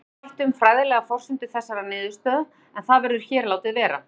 Fjölyrða mætti um fræðilegar forsendur þessarar niðurstöðu en það verður hér látið vera.